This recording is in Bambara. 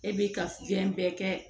E b'i ka fɛn bɛɛ kɛ